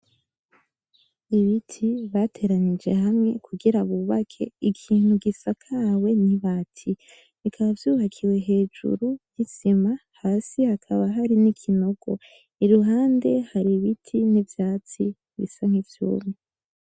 Ibiti bateranije hamwe kugira bubake ikintu gisakawe n'ibati, bikaba vyubakiwe hejuru y'isima hasi hakaba hari n'ikinogo, iruhande hari ibiti n'ivyatsi bisa nkivyumye.